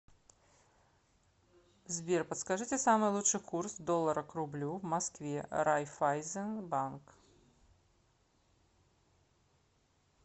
сбер подскажите самый лучший курс доллара к рублю в москве райфайзен банк